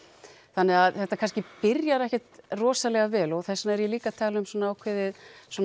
þannig að þetta kannski byrjar ekkert rosalega vel og þess vegna er ég líka að tala um ákveðið